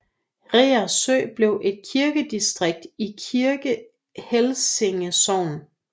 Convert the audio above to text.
Reersø blev et kirkedistrikt i Kirke Helsinge Sogn